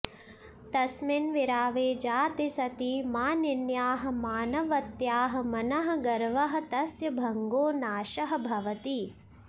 तस्मिन् विरावे जाते सति मानिन्याः मानवत्याः मनः गर्वः तस्य भङ्गो नाशः भवति